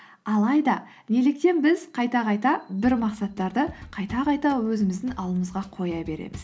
алайда неліктен біз қайта қайта бір мақсаттарды қайта қайта өзіміздің алдымызға қоя береміз